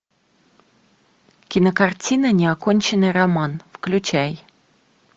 кинокартина неоконченный роман включай